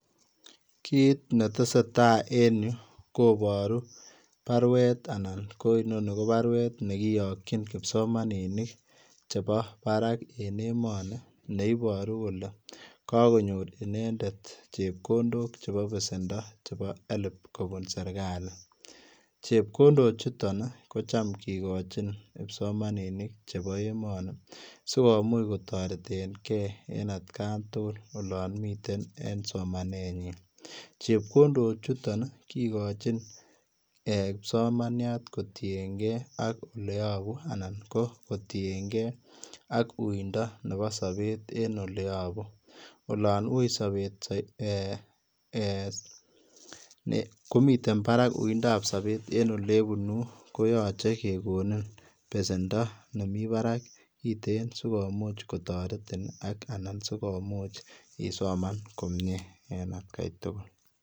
Kiit ne tesetai en Yuu kobaruu baruet anan inonii ko baruet nekiyakyiin kipsomaninik che bo Barak en emanii che ibaruu kole kakonyoor inendet chepkondook che bo besendo chebo []HELB[] kobuun serikali chepkondook chutoon ii ko chaam kigochiin kipsomaninik che bo emanii sikomuuch kotareteen gei at Gaan tugul olaan miten en somanet nyiin chepkondook chutoon ii kigochiin kipsomaniat kotienkei ak ole yabuu anan ko kotienkei ak uinda nebo sabeet en oleyabuu olaan wui sabet en ole bunuun ii koyachei kegonin besendo nemii baraak kiteen sikomuuch kotaretiin anan sikomuuch isomaan komyei en at gai tugul.